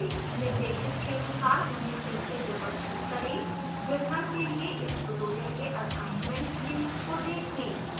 निर्देशित के अनुसार उन्हें फिर से व्यवस्थित करें